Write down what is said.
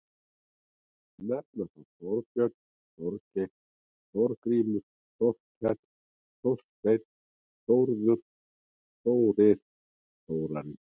Nefna má Þorbjörn, Þorgeir, Þorgrímur, Þorkell, Þorsteinn, Þórður, Þórir, Þórarinn.